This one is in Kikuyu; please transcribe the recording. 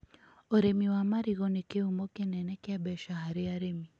Ũrĩmi wa marigũ nĩ kĩhumo kĩnene kĩa mbeca harĩ arĩmi